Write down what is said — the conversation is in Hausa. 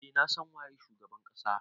Eh na san waye shugaban kasa.